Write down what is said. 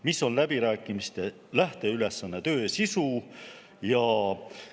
Mis on läbirääkimiste lähteülesanne ja töö sisu?